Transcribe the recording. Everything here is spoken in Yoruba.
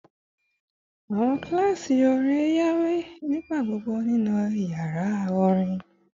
Awọn kilasi orin waye nigbagbogbo ninu yara orin